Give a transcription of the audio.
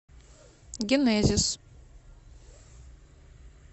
генезис